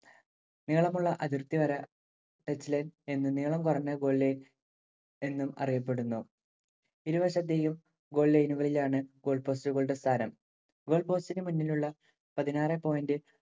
നീളമുളള അതിർത്തിവര touch line എന്നും, നീളം കുറഞ്ഞത്‌ goal line എന്നും അറിയപ്പെടുന്നു. ഇരുവശത്തെയും goal line ഉകളിലാണ്‌ goal post ഉകളുടെ സ്ഥാനം. goal post ഇനു മുന്നിലുള്ള പതിനാറേ point